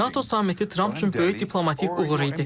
NATO sammiti Tramp üçün böyük diplomatik uğur idi.